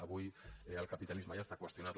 avui el capitalisme ja està qüestionat